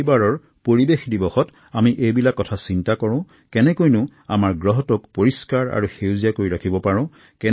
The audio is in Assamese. এইবাৰৰ বিশ্ব পৰিৱেশ দিৱসত আহক আমি সকলোৱে আমাৰ পৃথিৱীখনক স্বচ্ছ আৰু সেউজ কৰি তুলাৰ সংকল্প লওঁ